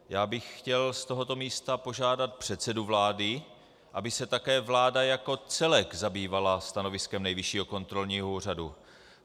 Já bych chtěl z tohoto místa požádat předsedu vlády, aby se také vláda jako celek zabývala stanoviskem Nejvyššího kontrolního úřadu.